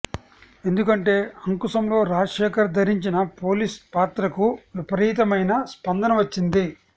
ఎందుకంటే అంకుశంలో రాజశేఖర్ ధరించిన పోలీస్ పాత్రకు విపరీతమైన స్పందన వచ్చింది